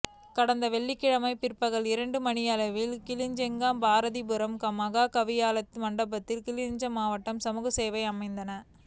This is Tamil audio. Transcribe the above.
கடந்த வெள்ளிக்கிழமை பிற்பகல் இரண்டு மணியளவில் கிளிநொச்சி பாரதிபுரம் மகாவித்தியாலய மண்டபத்தில் கிளிநொச்சி மாவட்ட சமூகசேவை அமைப்பான